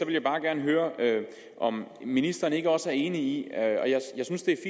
jeg bare gerne høre om ministeren ikke også er enig i jeg synes